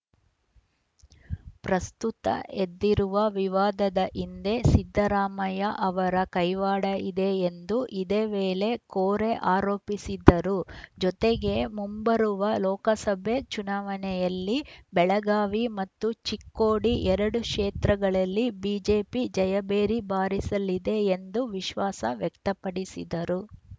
ಪ್ರಸ್ತುತ ಎದ್ದಿರುವ ವಿವಾದದ ಹಿಂದೆ ಸಿದ್ದರಾಮಯ್ಯಅವರ ಕೈವಾಡ ಇದೆ ಎಂದು ಇದೇ ವೇಳೆ ಕೋರೆ ಆರೋಪಿಸಿದರು ಜತೆಗೆ ಮುಂಬರುವ ಲೋಕಸಭೆ ಚುನಾವಣೆಯಲ್ಲಿ ಬೆಳಗಾವಿ ಮತ್ತು ಚಿಕ್ಕೋಡಿ ಎರಡೂ ಕ್ಷೇತ್ರಗಳಲ್ಲಿ ಬಿಜೆಪಿ ಜಯಭೇರಿ ಬಾರಿಸಲಿದೆ ಎಂದು ವಿಶ್ವಾಸ ವ್ಯಕ್ತಪಡಿಸಿದರು